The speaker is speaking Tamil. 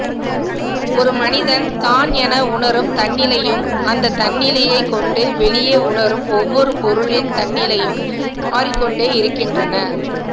ஒரு மனிதன் தான் என உணரும் தன்னிலையும் அந்த தன்னிலையைக்கொண்டு வெளியே உணரும் ஒவ்வொரு பொருளின் தன்னிலையும் மாறிக்கொண்டே இருக்கின்றன